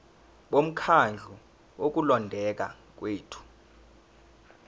bomkhandlu wokulondeka kwethu